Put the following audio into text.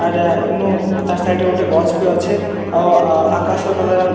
ଆର୍‌ ଇନୁ ତାର ସାଇଡ୍‌ ରେ ଗୁଟେ ଗଛ୍‌ ବି ଅଛେ ଆଉ ଆକାଶ କଲର ଆମେ--